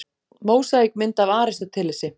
Mósaíkmynd af Aristótelesi.